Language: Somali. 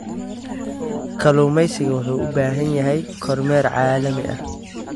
Kalluumaysigu waxa uu u baahan yahay kormeer caalami ah.